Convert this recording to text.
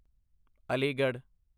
Aligarh